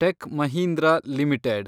tech Mahindra limited